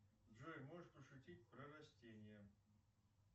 джой можешь пошутить про растения